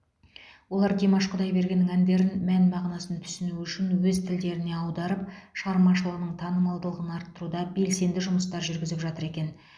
олар димаш құдайбергеннің әндерін мән мағынасын түсіну үшін өз тілдеріне аударып шығармашылығының танымалдығын арттыруда белсенді жұмыстар жүргізіп жатыр екен